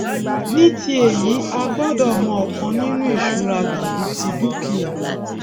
ní ti èyí àgbọdọ mọ ọkan ninu ìṣura tàbí ti dúkìá